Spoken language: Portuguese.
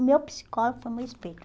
O meu psicólogo foi o meu espelho.